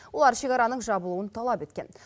олар шекараның жабылуын талап еткен